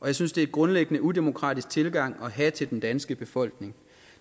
jeg synes det er en grundlæggende udemokratisk tilgang at have til den danske befolkning